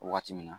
Waati min na